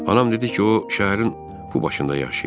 Anam dedi ki, o şəhərin bu başında yaşayır.